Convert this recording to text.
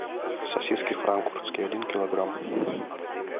сосиски франкфуртские один килограмм